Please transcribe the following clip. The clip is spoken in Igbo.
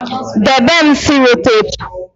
debe m sellotape